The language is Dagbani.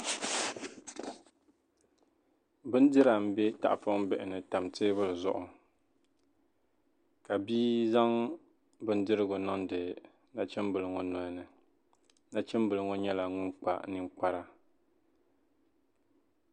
Bindira m-be tahipɔŋ bihi ni n-tam teebuli zuɣu ka bia zaŋ bindirigu niŋdi nachimbila ŋɔ noli ni nachimbila ŋɔ nyɛla ŋun kpa ninkpara